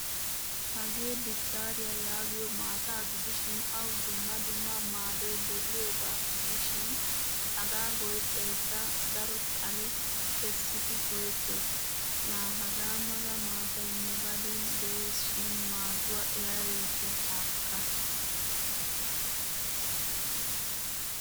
Hagee bidaariyaa yaagiyo maataa gidishin awu dumma dumma maadoy de'iyoga gishin hagaa go'ettaykka daro xalle kessidi go'ettees. La hagaa mala maataay nu gadeni de'ees shin maaduwaa erabaykke haakka.